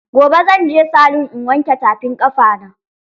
Gobe zan je salun in wanke tafin ƙafa na